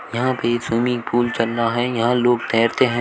यहां पे swimming pool चल रहा हैं यहां लोग तैरते हैं।